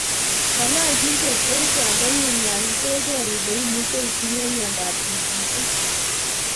Ng'ololchin chepkerichot ndengun yon keker ile imuche itinye myondo ap tikitik